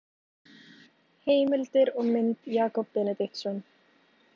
Heimildir og mynd Jakob Benediktsson.